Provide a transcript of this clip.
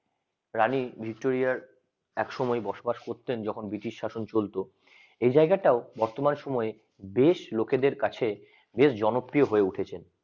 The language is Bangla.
রানী ভিক্টরিয়ার একসময় বসবাস করতেন যখন ব্রিটিশ শাসন চলতো এই জায়গাটাও বর্তমান সময়ে বেশ লোকেদের কাছে বেশ জনপ্রিয় হয়ে উঠেছে